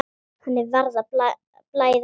Henni var að blæða út.